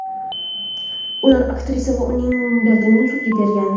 Ular aktrisa va uning brendini sudga bergan.